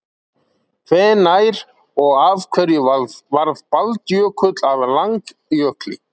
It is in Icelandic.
hvenær og af hverju varð baldjökull að langjökli